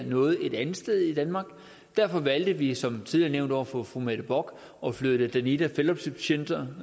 noget et andet sted i danmark derfor valgte vi som tidligere nævnt over for fru mette bock at flytte danida fellowship centre